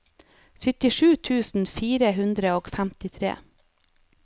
syttisju tusen fire hundre og femtitre